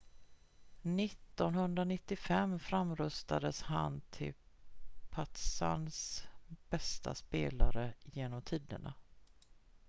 1995 framröstades han till partizans bästa spelare genom tiderna